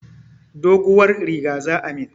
Doguwar riga za ayi mun.